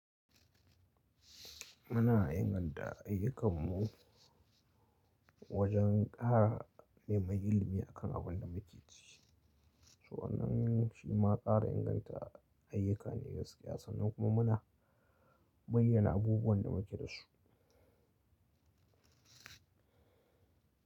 Muna inganta ayyukanmu wajen ƙara neman ilimi a kan abin da muke ci. So anan shi ma ƙara inganta ayyuka ne gaskiya sannan kuma muna bayyana abubuwan da muke da su.